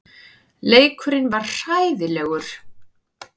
Leikurinn var hræðilegur.